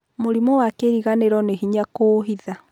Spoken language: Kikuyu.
Mũrimũ wa kĩriganĩro nĩ hĩnya kũũhitha.